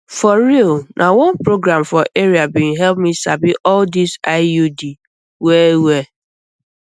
for real na one program for area bin help me sabi all this iud well well